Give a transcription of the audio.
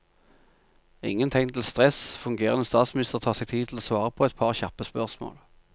Ingen tegn til stress, fungerende statsminister tar seg tid til å svare på et par kjappe spørsmål.